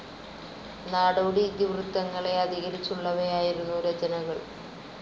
നാടോടി ഇതിവൃത്തങ്ങളെ അധികരിച്ചുള്ളവയായിരുന്നു രചനകൾ.